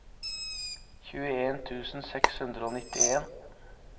tjueen tusen seks hundre og nittien